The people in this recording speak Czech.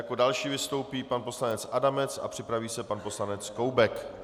Jako další vystoupí pan poslanec Adamec a připraví se pan poslanec Koubek.